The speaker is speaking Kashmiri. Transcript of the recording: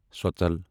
سۄژلَ